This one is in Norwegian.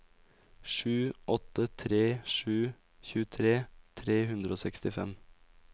sju åtte tre sju tjuetre tre hundre og sekstifem